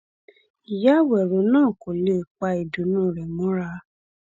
ìyá àwérò náà kò lè pa ìdùnnú rẹ mọra